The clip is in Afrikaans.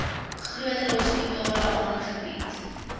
groter hospitale aangebied